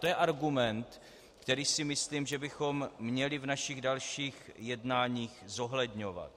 To je argument, který si myslím, že bychom měli v našich dalších jednáních zohledňovat.